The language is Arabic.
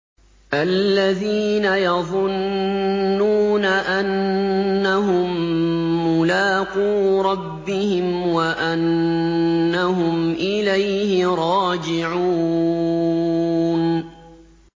الَّذِينَ يَظُنُّونَ أَنَّهُم مُّلَاقُو رَبِّهِمْ وَأَنَّهُمْ إِلَيْهِ رَاجِعُونَ